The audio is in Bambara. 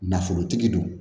Nafolotigi don